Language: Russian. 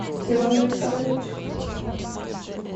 иван александрович